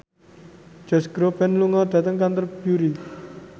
Josh Groban lunga dhateng Canterbury